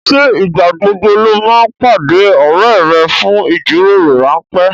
Ṣé ìgbà gbogbo ló máa ń pàdé ọrẹ rẹ fún ìjíròrò ránpẹ́